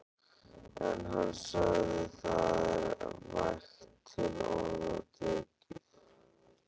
En hann sagði: Það er vægt til orða tekið.